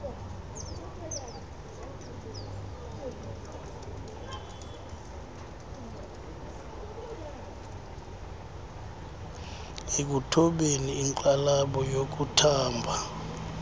ekuthobeni inxalabo yokuthamba